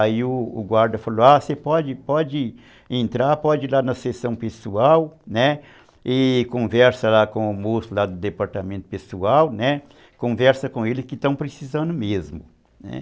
Aí o guarda falou, ah, você pode entrar, pode ir lá na sessão pessoal, né, e conversa lá com o moço lá do departamento pessoal, né, conversa com ele que estão precisando mesmo, né.